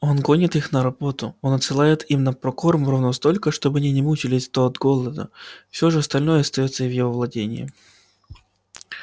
он гонит их на работу он отсылает им на прокорм ровно столько чтобы они не мучились от от голода всё же остальное остаётся в его владении